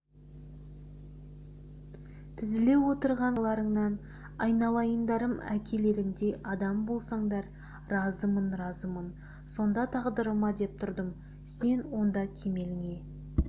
тізіле отырған қараларыңнан айналайындарым әкелеріңдей адам болсаңдар разымын разымын сонда тағдырыма деп тұрдым сен онда кемеліңе